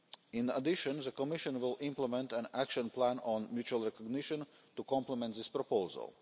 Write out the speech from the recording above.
In addition, the Commission will implement an action plan on mutual recognition to complement this proposal.